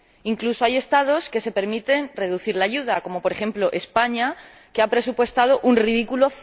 Incluso hay Estados que se permiten reducir la ayuda, como, por ejemplo, España, que ha presupuestado un ridículo